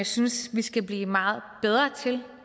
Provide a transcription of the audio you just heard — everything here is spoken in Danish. synes vi skal blive meget bedre til